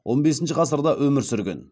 он бесінші ғасырда өмір сүрген